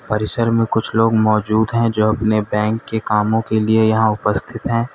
परिसर में कुछ लोग मौजूद हैं जो अपने बैंक के कामों के लिए उपस्थित हैं।